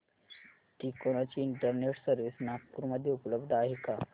तिकोना ची internet service Nagpur मध्ये उपलब्ध आहे का